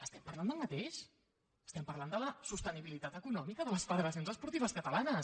estem parlant del mateix estem parlant de la sostenibilitat econòmica de les federacions esportives catalanes